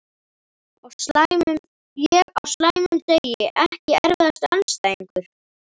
Ég á slæmum degi Ekki erfiðasti andstæðingur?